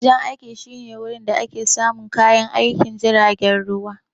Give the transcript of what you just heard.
Wajen aiki shine wajen da ake samun kayan aikin jiragen ruwa.